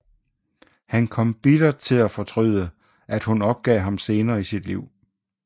Han kom til bittert at fortryde at hun opgav ham senere i sit liv